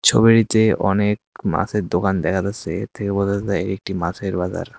ছবিটিতে অনেক মাছের দোকান দেখা যাচ্ছে এর থেকে বোঝা যায় একটি মাছের বাজার।